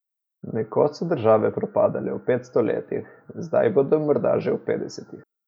Nekoč so države propadale v petsto letih, zdaj bodo morda že v petdesetih.